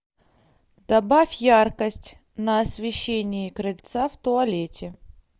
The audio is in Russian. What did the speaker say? добавь яркость на освещении крыльца в туалете